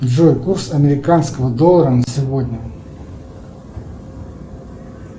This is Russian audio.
джой курс американского доллара на сегодня